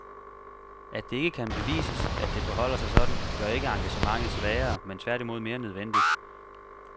At det ikke kan bevises, at det forholder sig sådan, gør ikke engagementet svagere, men tværtimod mere nødvendigt.